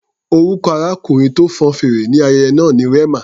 Orúkọ arákùnrin tó fọn fèrè ní ayẹyẹ náà ni Rema.